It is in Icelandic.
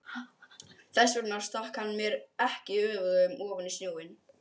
Þess vegna stakk hann mér ekki öfugum ofan í snjóinn.